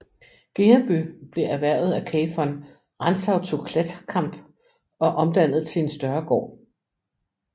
Gereby blev erhvervet af Cay von Rantzau zu Klethkamp og omdannet til en større gård